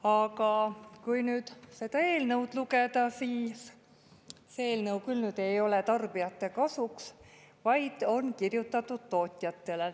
Aga kui nüüd seda eelnõu lugeda, siis see eelnõu küll ei ole tarbijate kasuks, vaid on kirjutatud tootjatele.